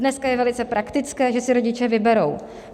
Dnes je velice praktické, že si rodiče vyberou.